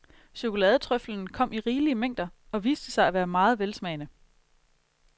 Chokoladetrøffelen kom i rigelige mængder og viste sig at være meget velsmagende.